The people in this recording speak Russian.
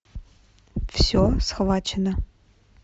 все схвачено